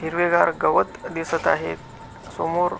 हिरवेगार गवत दिसत आहे समोर--